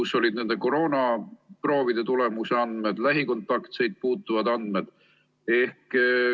Seal oli nii koroonaproovide tulemusi kui ka lähikontaktseid puudutavaid andmeid.